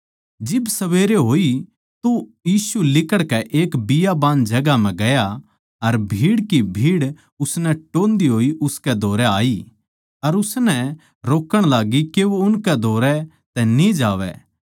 जिब सबेरे होई तो यीशु लिकड़कै एक बियाबान जगहां म्ह गया अर भीड़ की भीड़ उसनै टोह्न्दी होई उसकै धोरै आई अर उसनै रोकण लाग्गी के वो उनकै धोरै तै न्ही जावै